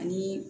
Ani